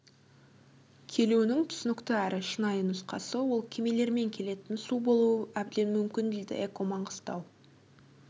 келуінің түсінікті әрі шынайы нұсқасы ол кемелермен келетін су болуы әбден мүмкін дейді эко маңғыстау